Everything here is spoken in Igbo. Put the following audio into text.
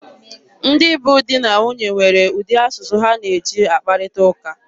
Ndị bụ di na nwunye nwere ụdị asụsụ ha na-eji akparịta ụka.